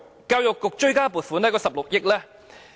教育局追加撥款約16億元。